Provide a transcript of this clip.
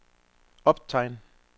optegn